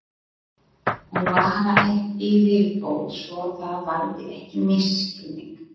Og bara eitt í viðbót svo það valdi ekki misskilningi.